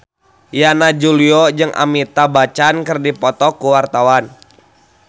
Yana Julio jeung Amitabh Bachchan keur dipoto ku wartawan